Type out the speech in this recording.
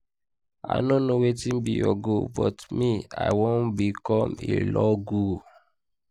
i no know wetin be your goal but me i wan become a law guru